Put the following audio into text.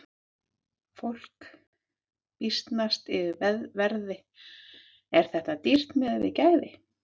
Fólk býsnast yfir verði, er þetta dýrt miðað við gæði?